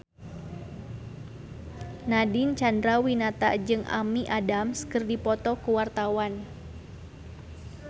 Nadine Chandrawinata jeung Amy Adams keur dipoto ku wartawan